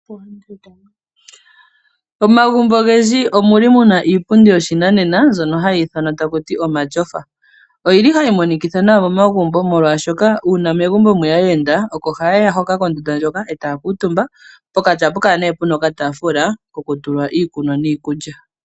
Momagumbo ogendji omuna iipundi yopashinanena ndjoka hayi ithanwa omatyofa. Ohayi monikitha nawa momagumbo molwaashoka uuna megumbo mweya aayenda, oko hayeya kondunda hoka eta ya kuutumba, pokati ohapukala puna okaatafula kokutula iikulya niikunwa.